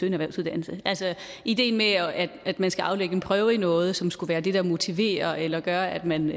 en erhvervsuddannelse altså ideen med at at man skal aflægge en prøve i noget som skulle være det der motiverer eller gør at man